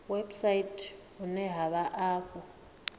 website vhune ha vha afho